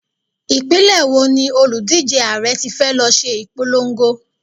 Ìpínlẹ̀ wo ni òlùdíje Ààrẹ tí fẹ́ lọ ṣe ìpolongo?